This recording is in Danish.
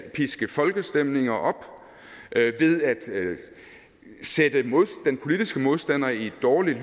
at piske folkestemninger op ved at sætte den politiske modstander i et dårligt